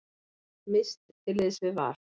Mist til liðs við Val